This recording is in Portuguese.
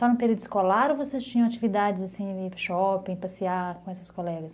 Só no período escolar ou vocês tinham atividades, assim, ir para o shopping, passear com essas colegas?